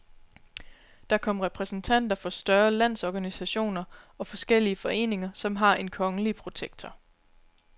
Der kommer repræsentanter for større landsorganisationer og forskellige foreninger, som har en kongelige protektor.